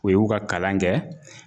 O y'u ka kalan kɛ